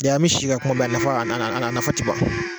Bi an bɛ si ka kuma bi a nafa a a a nafa tɛ ban.